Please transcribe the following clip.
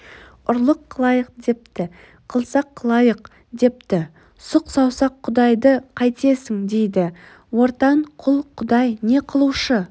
ұрлық қылайық депті қылсақ қылайық депті сұқ саусақ құдайды қайтесің дейді ортан қол құдай не қылушы